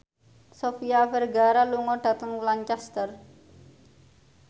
Sofia Vergara lunga dhateng Lancaster